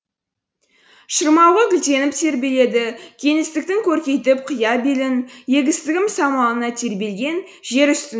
шырмауығы гүлденіп тербеледі кеңістіктің көркейтіп қия белін егістігім самалына тербелген жер үстін